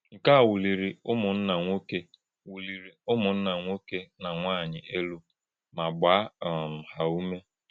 Nké̄ à wùlì̄rì̄ ùmùnnà̄ nwọ́ké̄ wùlì̄rì̄ ùmùnnà̄ nwọ́ké̄ na nwányì̄ élú mà̄ gbàà um hà̄ ùmè̄.